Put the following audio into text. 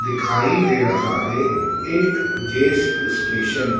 दिखाई दे रहा है। एक ये स्टेशन --